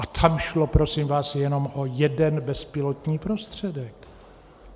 A tam šlo, prosím vás, jenom o jeden bezpilotní prostředek.